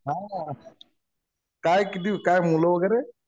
नाही ना यार. काय किती काय मुलं वगैरे?